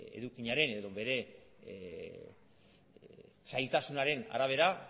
edukiaren edo bere zailtasunaren arabera